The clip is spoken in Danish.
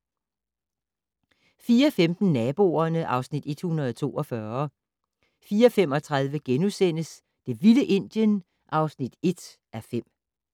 04:15: Naboerne (Afs. 142) 04:35: Det vilde Indien (1:5)*